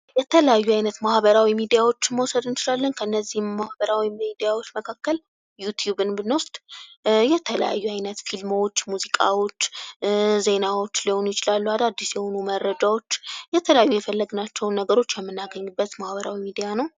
የተለያዩ አይነት ማህበራዊ ሚዲያዎችን መውሰድ እንችላለን ከነዚህ ማህበራዊ ሚዲያዎች መካከል ዩቲዩብን ብንወስድ የተለያዩ አይነት ፊልሞች ሙዚቃዎች ዜናዎች ሊሆኑ ይችላሉ አዳድስ የሆኑ መረጃዎች የተለያዩ የፈለግናቸው ነገሮች የምናገኝበት ማህበራዊ ሚዲያ ነው።